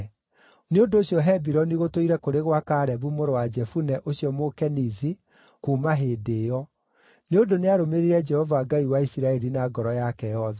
Nĩ ũndũ ũcio Hebironi gũtũũire kũrĩ gwa Kalebu mũrũ wa Jefune ũcio Mũkenizi kuuma hĩndĩ ĩyo, nĩ ũndũ nĩarũmĩrĩire Jehova Ngai wa Isiraeli na ngoro yake yothe.